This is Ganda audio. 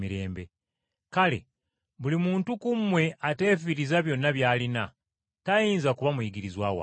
Kale, buli muntu ku mmwe ateefiiriza byonna by’alina, tayinza kuba muyigirizwa wange.